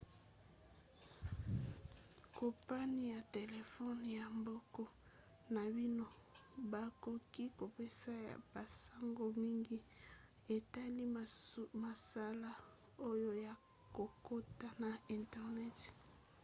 kompani ya telefone ya mboka na bino bakoki kopesa yo basango mingi etali mosala oyo ya kokota na internet